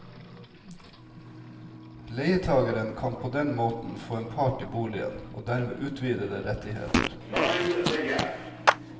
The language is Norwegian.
Leietageren kan på den måten få en part i boligen og dermed utvidede rettigheter.